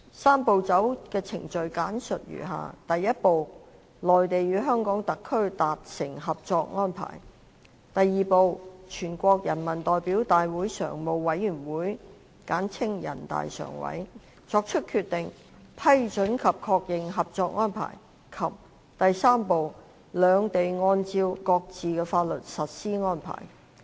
"三步走"的程序簡述如下：第一步，內地與香港特區達成合作安排；第二步，全國人民代表大會常務委員會作出決定，批准及確認合作安排；及第三步，兩地按照各自的法律實施安排。